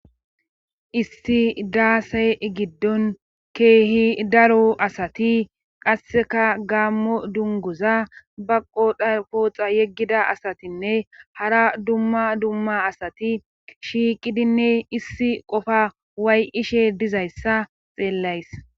Issi daasey giddon keehi daro asati qasseka gaammo dunguza baqo dakooxa yeggida asatinne hara dumma dumma asati shiiqidinne issi qofa way ishe dizayssa xeellays.